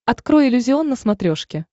открой иллюзион на смотрешке